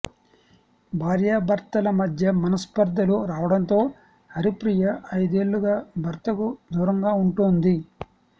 భార్యాభర్తల మధ్య మనస్పర్థలు రావడంతో హరిప్రియ ఐదేళ్లుగా భర్తకు దూరంగా ఉంటోంది